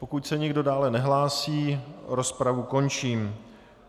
Pokud se nikdo dále nehlásí, rozpravu končím.